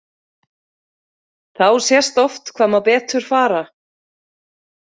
Þá sést oft hvað má betur fara.